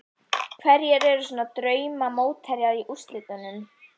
Hverjir eru svo drauma mótherjar í undanúrslitum?